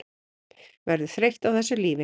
Verður þreytt á þessu lífi.